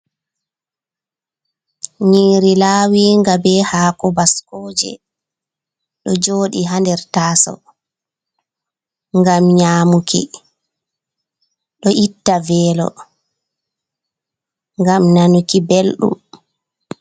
Nyiri laawinga be hako baskoje ɗo joɗi hader tasa ngam nyamuki, ɗo itta velo ngam nanuki belɗum.